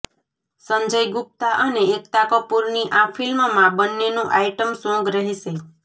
સંજય ગુપ્તા અને એકતા કપૂરની આ ફિલ્મમાં બંનેનુ આઈટમ સોંગ રહેશે